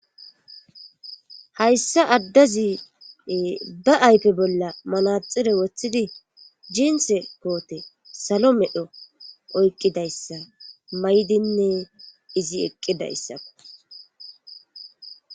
hayssa addazi ba aype bolla manaxire woththidi jiinse koote salo medho oykqidayssa maydinne izi eqqidayssako